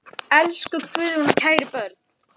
Elsku Guðrún og kæru börn.